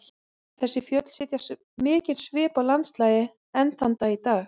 Þessi fjöll setja mikinn svip á landslagið enn þann dag í dag.